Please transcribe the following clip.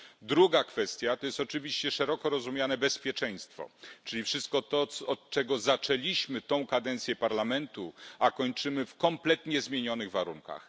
Druga kwestia to jest oczywiście szeroko rozumiane bezpieczeństwo, czyli wszystko to, od czego zaczęliśmy tę kadencję Parlamentu, a kończymy w kompletnie zmienionych warunkach.